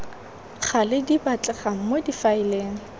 gale di batlegang mo difaeleng